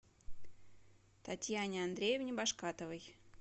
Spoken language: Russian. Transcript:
татьяне андреевне башкатовой